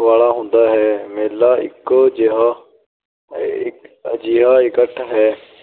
ਵਾਲਾ ਹੁੰਦਾ ਹੈ। ਮੇਲਾ ਇੱਕੋ ਇੱਕ ਅਜਿਹਾ ਇਕੱਠ ਹੈ,